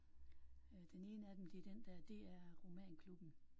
Øh den ene af dem det er den der DR Romanklubben